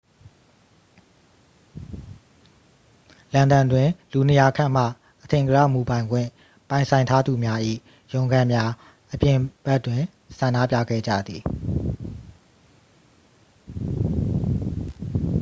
လန်ဒန်တွင် လူ 200 ခန့်မှ အထင်ကရ မူပိုင်ခွင့်ပိုင်ဆိုင်ထားသူများ၏ ရုံးခန်းများအပြင်ဘက်တွင် ဆန္ဒပြခဲ့ကြသည်